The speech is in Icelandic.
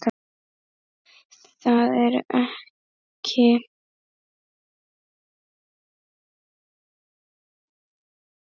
Það eru ekki alltaf jólin.